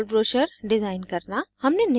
* 3fold brochure design करना